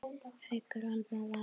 Haukur, Alma og Valur.